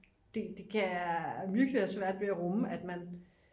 det kan jeg virkelig have svært ved at rumme at man